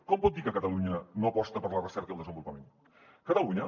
com pot dir que catalunya no aposta per la recerca i el desenvolupament catalunya